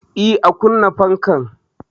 Eh, a kunna fankan.